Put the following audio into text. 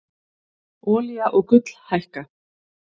Olía og gull hækka